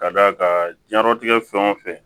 Ka d'a kan diɲɛtigɛ fɛn o fɛn